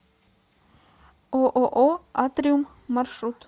ооо атриум маршрут